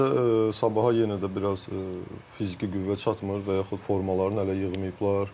Məncə Sabaha yenə də biraz fiziki qüvvə çatmır və yaxud formalarını hələ yığmayıblar.